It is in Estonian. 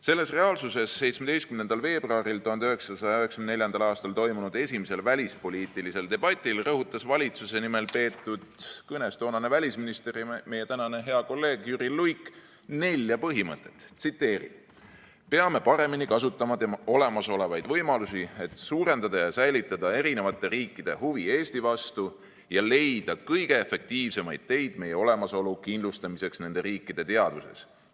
Selles reaalsuses 17. veebruaril 1994. aastal toimunud esimesel välispoliitilisel debatil rõhutas valitsuse nimel peetud kõnes toonane välisminister ja meie tänane kolleeg Jüri Luik nelja põhimõtet: "Peame paremini kasutama olemasolevaid võimalusi, et suurendada ja säilitada erinevate riikide huvi Eesti vastu ja leida kõige efektiivsemaid teid meie olemasolu kindlustamiseks nende riikide teadvuses.